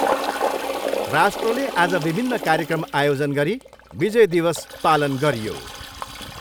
राष्ट्रले आज विभिन्न कार्यक्रम आयोजन गरी विजय दिवस पालन गरियो।